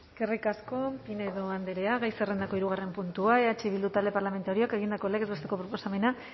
eskerrik asko pinedo andrea gai zerrendako hirugarren puntua eh bildu talde parlamentarioak egindako legez besteko proposamena